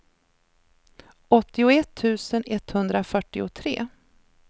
åttioett tusen etthundrafyrtiotre